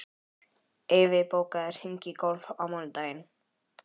Eyfi, bókaðu hring í golf á mánudaginn.